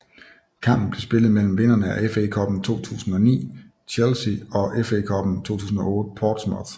Kampen blev spillet mellem vinderne af FA Cuppen 2009 Chelsea og FA Cuppen 2008 Portsmouth